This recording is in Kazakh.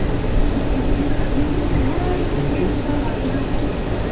жұт келсе елдің бәрінің түгел жұтағаны жақсы ма